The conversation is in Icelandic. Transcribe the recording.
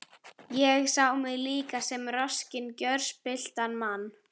Ég sá mig líka sem roskinn, gjörspilltan mann.